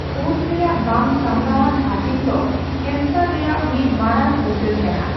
ᱠᱳᱥ ᱨᱮᱭᱟᱜ ᱵᱟᱝ ᱥᱟᱸᱵᱽᱲᱟᱣᱟᱱ ᱦᱟᱹᱴᱤᱧ ᱫᱚ ᱠᱮᱱᱥᱟᱨ ᱨᱮᱭᱟᱜ ᱢᱤᱫ ᱢᱟᱨᱟᱝ ᱩᱨᱜᱟᱹᱱ ᱠᱟᱱᱟ ᱾